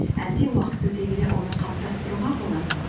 әлде уақыт өте келе оны қалыптастыруға болады ма